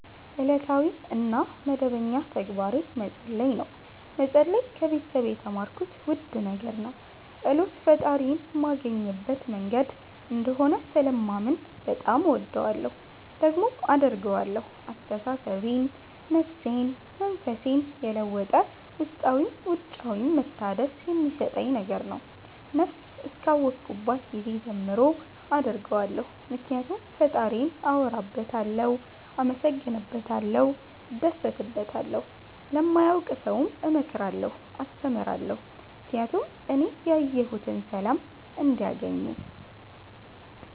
እለታዊ እና መደበኛ ተግባሬ መፀለይ ነው። መፀለይ ከቤተሰብ የተማርኩት ውድ ነገር ነው። ፀሎት ፈጣሪዬን ማገኝበት መንገድ እንደሆነ ስለማምን በጣም እወደዋለሁ። ደግሞም አደርገዋለሁ አስተሳሰቤን፣ ነፍሴን፣ መንፈሴን የለወጠ ውስጣዊም ውጫዊም መታደስ የሚሠጠኝ ነገር ነው። ነብስ እስከ አወኩባት ጊዜ ጀምሮ አደርገዋለሁ ምክኒያቱም ፈጣሪዬን አወራበታለሁ፣ አመሠግንበታለሁ፣ እደሠትበታለሁ። ለማያውቅ ሠውም እመክራለሁ አስተምራለሁ ምክኒያቱም እኔ ያየሁትን ሠላም እንዲያገኙ